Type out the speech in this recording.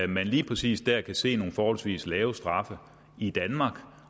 man lige præcis der kan se nogle forholdsvis lave straffe i danmark